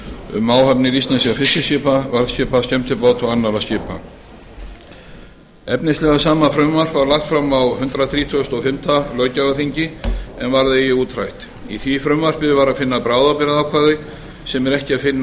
um áhafnir íslenskra fiskiskipa varðskipa skemmtibáta og annarra skipa efnislega sama frumvarp var lagt fram á hundrað þrítugasta og fimmta löggjafarþingi en varð eigi útrætt í því frumvarpi var að finna bráðabirgðaákvæði sem er ekki að finna